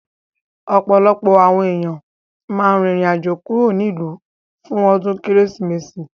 Ọ̀pọ̀lọpọ̀ àwọn èèyàn máa rìn rìn àjò kúrò nílùú fún ọdún Kérésìmesì